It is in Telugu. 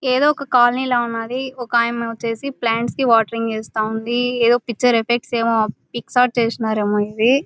ఏదో ఒక కాలనీ లా ఉన్నాది. ఒక ఆయమ్మ వచ్చేసి ప్లాంట్స్ కి వాటరింగ్ ఏస్తా ఉంది. ఏదో పిక్చర్ ఎఫెక్ట్స్ ఏమో పిక్ షాట్ చేసినారేమో ఇవి.